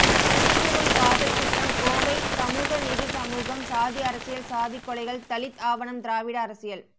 இந்துத்துவம் காதல் குற்றம் கோவை சமூக நீதி சமூகம் சாதி அரசியல் சாதி கொலைகள் தலித் ஆவணம் திராவிட அரசியல்